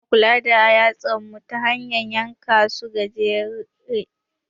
Muna kula da yatsan mu ta hanyan yanka su gajere.